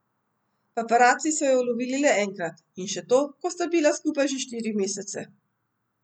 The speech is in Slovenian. Paparaci so ju ulovili le enkrat, in še to, ko sta bila skupaj že štiri mesece.